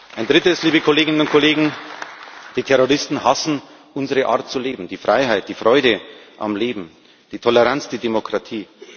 Ein Drittes, liebe Kolleginnen und Kollegen Die Terroristen hassen unsere Art zu leben, die Freiheit, die Freude am Leben, die Toleranz, die Demokratie.